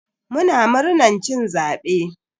Muna murnan cin zabe.